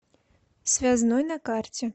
связной на карте